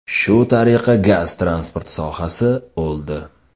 Shu tariqa gaz-transport sohasi o‘ldi.